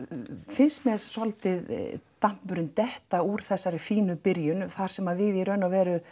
finnst mér svolítið detta úr þessari fínu byrjun þar sem við í raun